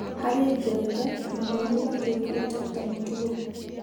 Harĩ Njenga mathomo matuĩkĩte ta mũtugo.